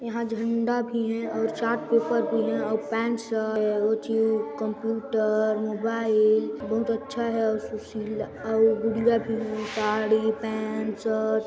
यहां झंडा भी है और चार्टपेपर भी है और कंप्यूटर मोबाइल बहुत अच्छा है और गाड़ी पैंट शर्ट